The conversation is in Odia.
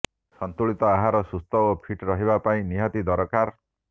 ସନ୍ତୁଳିତ ଆହାର ସୁସ୍ଥ ଓ ଫିଟ୍ ରହିବା ପାଇଁ ନିହାତି ଦରକାର